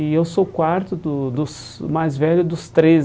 E eu sou o quarto do dos mais velho dos treze.